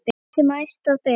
Tign sem æðsta ber.